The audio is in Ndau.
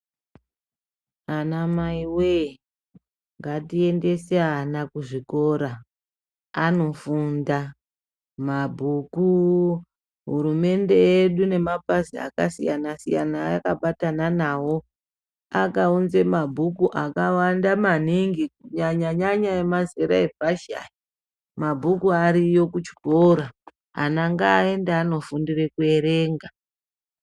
Anamaiwee, ngatiendese ana kuzvikora anofunda. Mabhuku hurumende yedu nemapazi akasiyana-siyana ayakabatana nawo, akaunze mabhuku akawanda maningi, kunyanya-nyanya emazera epashi aya, mabhuku ariyo kuchikora. Ana ngaaende andofundire kuerenga.